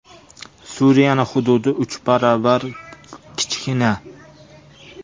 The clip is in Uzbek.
Suriyaning hududi uch barobar kichkina.